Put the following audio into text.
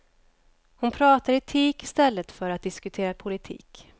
Hon pratar etik i stället för att diskutera politik.